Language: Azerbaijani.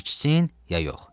İçsin ya yox?